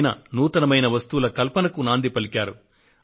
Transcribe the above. ఆయన నూతనమైన వస్తువుల కల్పనకు నాంది పలికారు